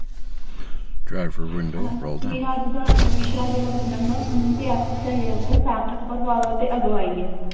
ਅਹ ਮੇਰਾ ਅਜੇ ਦਾ ਅਰ ਵਿਸ਼ਾ ਹੈ ਜੇਹੜਾ ਦਾ ਸਮੂੰਹ ਤੇ ਆਪਸੀ ਸਹਿਯੋਗ ਦਾ ਸਾਰਥਕ ਪ੍ਰਭਾਵ ਤੇ ਅਗਵਾਹੀ ਹੈ